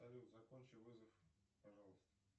салют закончи вызов пожалуйста